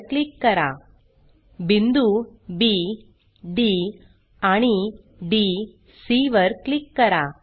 वर क्लिक करा बिंदू बी डी आणि डी सी वर क्लिक करा